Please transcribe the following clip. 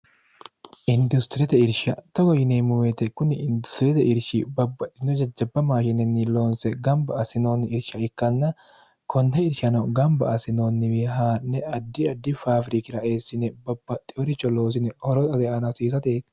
industiriyete irsha togo yineemmuweete kunni industiriyete irshi babbaxino jajjabba maashinenni loonse gamba assinoonni irsha ikkanna konne irshano gamba assinoonniwi haa'ne addi addi faafirikira eessine babbaxxioricho loosine horo xodeanhasiisate